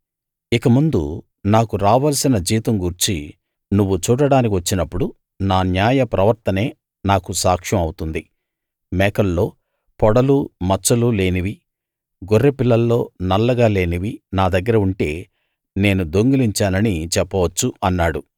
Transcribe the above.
ఇక ముందు నాకు రావలసిన జీతం గూర్చి నువ్వు చూడడానికి వచ్చినప్పుడు నా న్యాయ ప్రవర్తనే నాకు సాక్ష్యం అవుతుంది మేకల్లో పొడలూ మచ్చలూ లేనివీ గొర్రెపిల్లల్లో నల్లగా లేనివీ నా దగ్గర ఉంటే నేను దొంగిలించానని చెప్పవచ్చు అన్నాడు